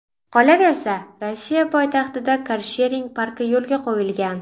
Qolaversa, Rossiya poytaxtida karshering parki yo‘lga qo‘yilgan.